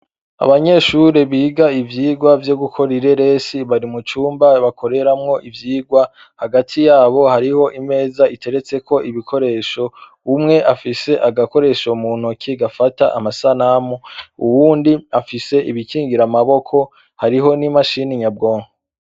Abanyeshure biga ivyirwa vyo gukora ireresi bari mu cumba bakoreramwo ivyirwa, hagati yabo hariho imeza iteretseko ibikoresho ,umwe afise agakoresho mu ntoke gafata amasanamu, uwundi afise ibikingira amaboko , hariho n' imashini nyabwonko.